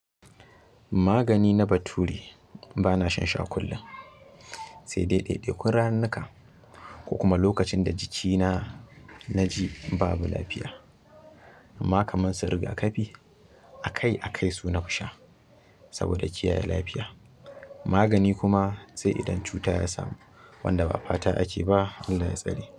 Magani na bature, bana shan shi a kullum sai dai ɗai-ɗai kun ranuka, ko kuma lokacin da jikina na ji babu lafiya. Amma kamar su riga kafi, akai-akai su na fi sha saboda kiyaye lafiya. Magani kuma sai idan cuta ya samu, wanda ba fata ake ba. Allah ya tsare.